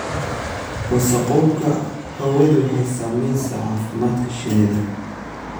Wasakhowga hawadu waxay saamaysaa caafimaadka shinnida.